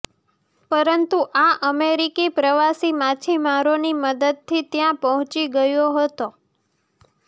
પરંતુ આ અમેરિકી પ્રવાસી માછીમારોની મદદથી ત્યાં પહોંચી ગયો હતો